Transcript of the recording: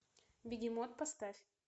бегемот поставь